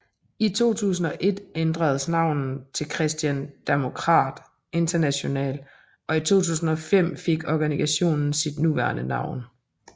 I 2001 ændredes navnet til Christian Democrat International og i 2005 fik organisationen sit nuværende navn